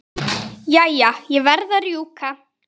Jæja, ég verð að rjúka.